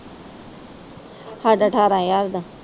ਸਾਡਾ ਠਾਰਾਂ ਹਜਾਰ ਦਾ।